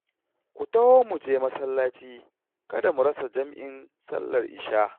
Ku taho mu je masallaci kada mu rasa jam'in sallar Ishah